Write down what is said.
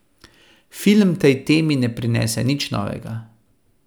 Film tej temi ne prinese nič novega.